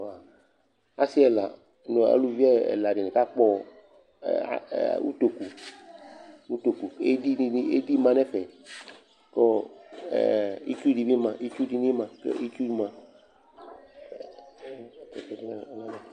Asɩ ɛla nʋ aluvi ɛla dɩnɩ kakpɔ ɛ a ɛ utoku utoku kʋ edi dɩnɩ edi ma nʋ ɛfɛ kʋ ɔ ɛ itsu dɩ bɩ ma itsu dɩ bɩ ma kʋ itsu ma